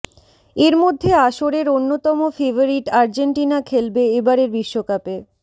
এর মধ্যে আসরের অন্যতম ফেভারিট আর্জেন্টিনা খেলবে এবারের বিশ্বকাপে